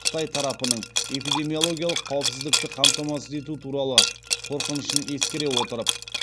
қытай тарапының эпидемиологиялық қауіпсіздікті қамтамасыз ету туралы қорқынышын ескере отырып